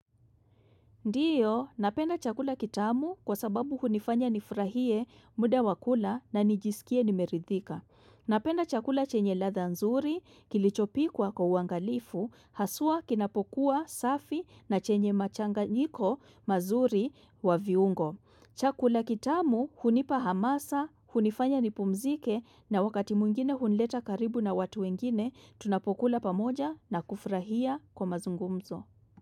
Ndiyo, napenda chakula kitamu kwa sababu hunifanya nifurahie muda wa kula na nijisikie nimeridhika. Napenda chakula chenye ladha nzuri, kilichopikwa kwa uangalifu, haswa kinapokuwa safi na chenye machanganyiko mazuri wa viungo. Chakula kitamu hunipa hamasa, hunifanya nipumzike na wakati mwingine hunileta karibu na watu wengine, tunapokula pamoja na kufurahia kwa mazungumzo.